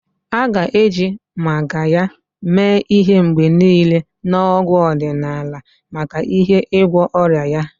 A ga-eji Magarya mee ihe mgbe niile na ọgwụ ọdịnala maka ihe igwọ ọrịa ya.